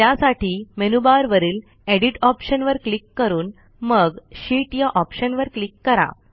त्यासाठी मेनूबारवरील एडिट ऑप्शनवर क्लिक करून मग शीत या ऑप्शनवर क्लिक करा